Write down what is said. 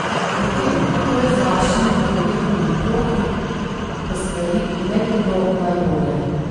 O tem, kako je z vašimi mladoletnimi otroki, ko stvari ne gredo najbolje?